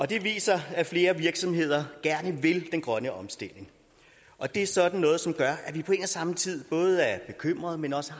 det viser at flere virksomheder gerne vil den grønne omstilling og det er sådan noget som gør at vi på en og samme tid både er bekymret men også